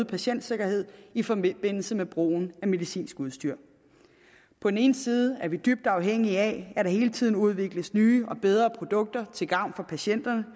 patientsikkerhed i forbindelse med brugen af medicinsk udstyr på den ene side er vi dybt afhængige af at der hele tiden udvikles nye og bedre produkter til gavn for patienterne